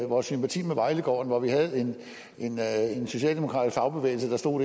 vores sympati med vejlegården hvor vi havde en socialdemokratisk fagbevægelse der stod